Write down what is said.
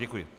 Děkuji.